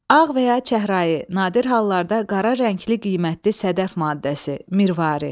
Ağ və ya çəhrayı, nadir hallarda qara rəngli qiymətli sədəf maddəsi, mirvari.